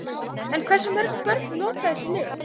En hversu mörg börn nota þessi lyf?